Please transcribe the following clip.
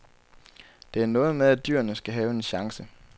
Det er noget med, at dyrene skal have en chance.